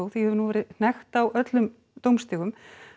því hefur nú verið hnekkt á öllum dómstigum